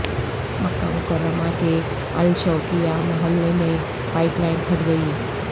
مکہ Mukarramah کے Al Shawqiyah محلے میں پائپ لائن پھٹ گئی